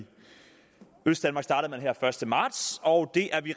østdanmark startede her første marts og det er vi